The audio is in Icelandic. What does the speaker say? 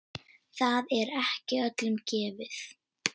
Það er ekki öllum gefið.